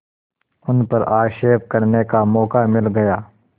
उन पर आक्षेप करने का मौका मिल गया